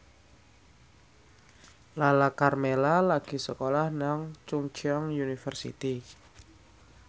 Lala Karmela lagi sekolah nang Chungceong University